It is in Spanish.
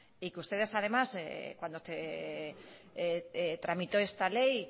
y que ustedes además cuando tramitó esta ley